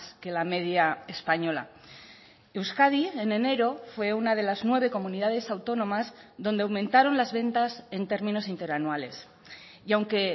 que la media española euskadi en enero fue una de las nueve comunidades autónomas donde aumentaron las ventas en términos interanuales y aunque